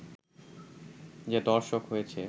যে দর্শক হয়েছে